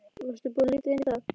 Varstu búinn að líta inn í það?